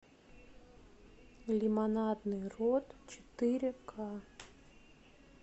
лимонадный рот четыре ка